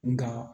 Nga